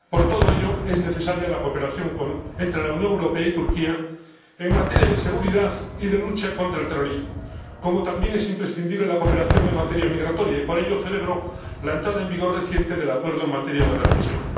Por todo ello, es necesaria la cooperación entre la Unión Europea y Turquía en materia de seguridad y de lucha contra el terrorismo, como también es imprescindible la cooperación en materia migratoria. Y, por ello, celebro la entrada en vigor reciente del Acuerdo en materia de readmisión.